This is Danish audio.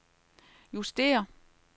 justér